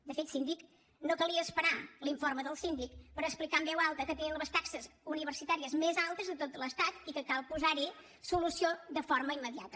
de fet síndic no calia esperar l’informe del síndic per explicar en veu alta que tenim les taxes universitàries més altes de tot l’estat i que cal posar hi solució de forma immediata